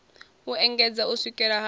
u engedzedza u swikela ha